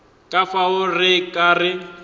ka fao re ka re